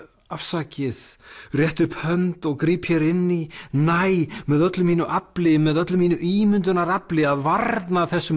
afsakið rétti upp hönd og gríp hér inn í næ með öllu mínu afli með öllu mínu ímyndunarafli að varna þessum